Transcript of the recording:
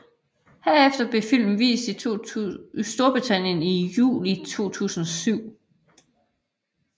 Derefter blev filmen vist i Storbritannien i juli 2007